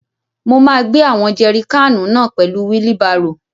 Mo máa gbé àwọn jẹri káànù náà pẹ̀lú wílí barò.